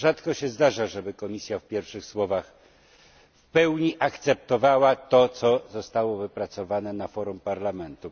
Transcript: Rzadko się zdarza, żeby Komisja w pierwszych słowach w pełni akceptowała to, co zostało wypracowane na forum Parlamentu.